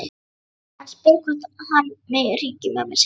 Hann spyr hvort hann megi hringja í mömmu sína.